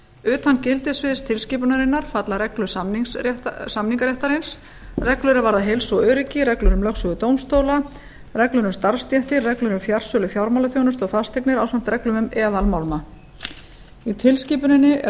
utan gildissviðs tilskipunarinnar falla reglur samningaréttarins reglur er varða heilsu og öryggi reglur um lögsögu dómstóla reglur um starfsstéttir reglur um fjarsölu fjármálaþjónustu og fasteignir ásamt reglum um eðalmálma í tilskipuninni er